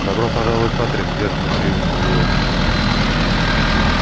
добро пожаловать патрик сдержанно поприветствовал его ник